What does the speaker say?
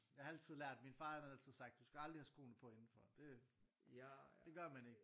Jeg har altid lært min far han har altid sagt du skal aldrig have skoene på indenfor det det gør man ikke